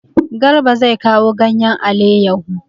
Garba zai kawo ganyen aleyahu.